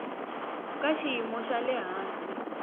ka xiyimo xa le hansi